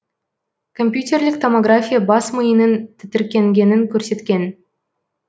компьютерлік томография бас миының тітіркенгенін көрсеткен